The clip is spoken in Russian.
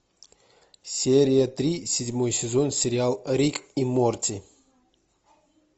серия три седьмой сезон сериал рик и морти